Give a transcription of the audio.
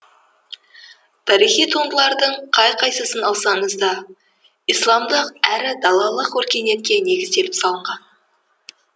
тарихи туындылардың қай қайсысын алсаңыз да исламдық әрі далалық өркениетке негізделіп салынған